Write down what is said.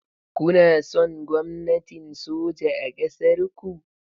Kuna son gwamnatin soja a ƙasar ku?